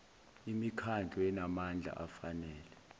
imikhandlu enamandla afanele